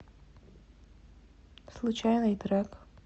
случайный трек